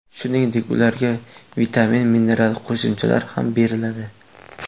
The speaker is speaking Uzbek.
Shuningdek, ularga vitamin-mineral qo‘shimchalari ham beriladi.